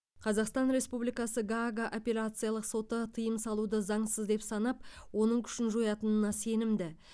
қазақстан республикасы гаага апелляциялық соты тыйым салуды заңсыз деп санап оның күшін жоятынына сенімді